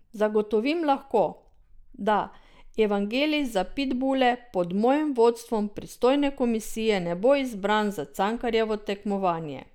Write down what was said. Zagotovim lahko, da Evangelij za pitbule pod mojim vodstvom pristojne komisije ne bo izbran za Cankarjevo tekmovanje.